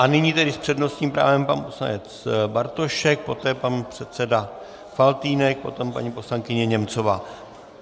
A nyní tedy s přednostním právem pan poslanec Bartošek, poté pan předseda Faltýnek, potom paní poslankyně Němcová.